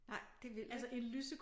Nej det vildt ik